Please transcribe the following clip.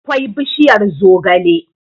akwai bishiyar zogale